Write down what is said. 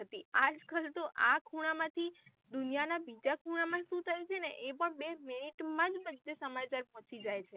આજ કલ તો આ ખૂણા માંથી દુનિયાના બીજા ખૂણા માં સુ થયું છેને એ પણ બે મિનિટે માં બધે સમાચાર પહોંચી જાય છે.